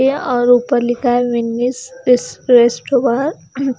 और ऊपर लिखा है